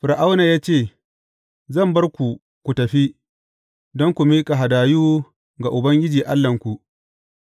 Fir’auna ya ce, Zan bar ku ku tafi, don ku miƙa hadayu ga Ubangiji Allahnku,